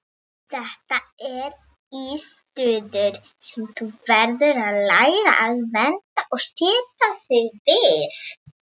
Þetta er landssiður sem þú verður að læra að venjast og sætta þig við.